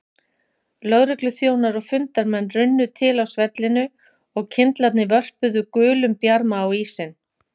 Lögregluþjónar og fundarmenn runnu til á svellinu og kyndlarnir vörpuðu gulum bjarma á ísinn.